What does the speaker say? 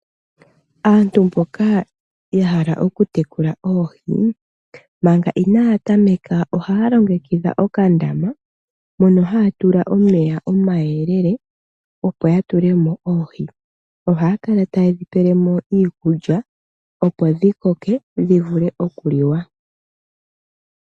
Aantu mboka ya hala oku tekula oohi, manga inaya tameka ohaya longekidha okandama, mono haya tula omeya omayelele opo ya tulemo oohi. Ohaya kala tayedhi pelemo iikulya opo dhi koke, dhi vule okuliwa.